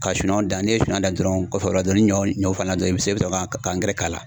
Ka sumanw dan, n'i ye suman dan dɔrɔnw kɔfɛ o la, ni ɲɔ falen na dɔrɔn i be se ka ka k'a la.